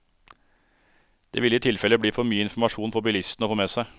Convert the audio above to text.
Det ville i tilfelle bli for mye informasjon for bilistene å få med seg.